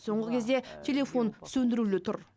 соңғы кезде телефон сөндірулі тұр